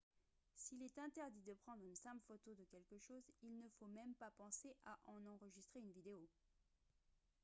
s'il est interdit de prendre une simple photo de quelque chose il ne faut même pas penser à en enregistrer une vidéo